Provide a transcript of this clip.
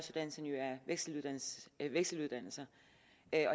vekseluddannelser